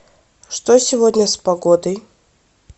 что сегодня с погодой